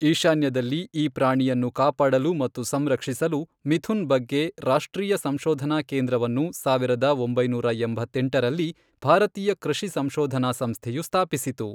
ಈಶಾನ್ಯದಲ್ಲಿ ಈ ಪ್ರಾಣಿಯನ್ನು ಕಾಪಾಡಲು ಮತ್ತು ಸಂರಕ್ಷಿಸಲು, ಮಿಥುನ್ ಬಗ್ಗೆ ರಾಷ್ಟ್ರೀಯ ಸಂಶೋಧನಾ ಕೇಂದ್ರವನ್ನು ಸಾವಿರದ ಒಂಬೈನೂರ ಎಂಬತ್ತೆಂಟರಲ್ಲಿ ಭಾರತೀಯ ಕೃಷಿ ಸಂಶೋಧನಾ ಸಂಸ್ಥೆಯು ಸ್ಥಾಪಿಸಿತು.